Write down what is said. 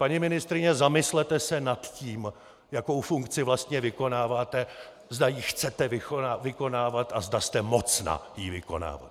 Paní ministryně, zamyslete se nad tím, jakou funkci vlastně vykonáváte, zda ji chcete vykonávat a zde jste mocna ji vykonávat!